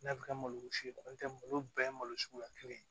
N'a bɛ kɛ malo wusulen ye n'o tɛ malo bɛɛ ye malo suguya kelen ye